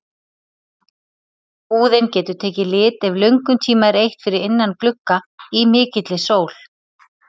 Húðin getur tekið lit ef löngum tíma er eytt fyrir innan glugga í mikilli sól.